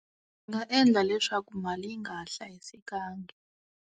Nga endla leswaku mali yi nga ha hlayisekangi.